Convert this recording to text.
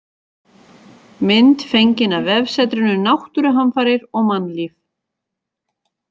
Mynd fengin af vefsetrinu Náttúruhamfarir og mannlíf.